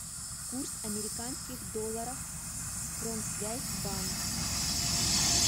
курс американских долларов промсвязьбанк